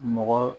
Mɔgɔ